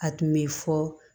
A tun bɛ fɔ